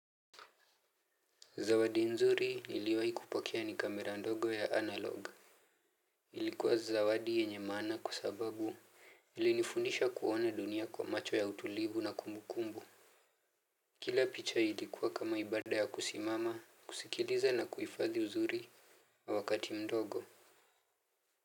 Zawadi nzuri niliwahi kupokea ni kamera ndogo ya analogue. Ilikuwa zawadi yenye maana, kwa sababu ilinifundisha kuona dunia kwa macho ya utulivu na kumbukumbu. Kila picha ilikuwa kama ibada ya kusimama, kusikiliza na kuifadhi uzuri wa wakati mdogo.